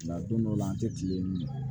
Nka don dɔ la an tɛ kile yen